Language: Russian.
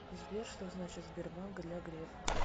сбер что значит сбербанк для грефа